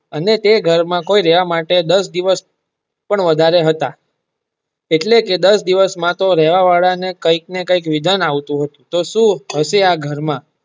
અને તે ઘર માં કોઈ રહેવા માટે દસ દિવસ પણ વધારે હતા એટલે તો રહેવા વાળા ને કંઈક ને કંઈક વિધ્ન આવતું હતું તો સુ હશે આ ઘર માં.